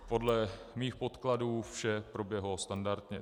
Podle mých podkladů vše proběhlo standardně.